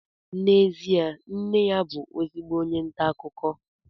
n'ezie nne ya bụ ezigbo onye nta akụkọ